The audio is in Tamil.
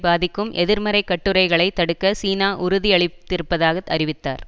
பாதிக்கும் எதிர்மறை கட்டுரைகளைத் தடுக்க சீனா உறுதியளித்திருப்பதாக அறிவித்தார்